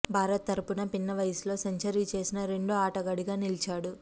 భారత్ తరపున పిన్న వయసులో సెంచరీ చేసిన రెండో ఆటగాడిగా నిలిచాడు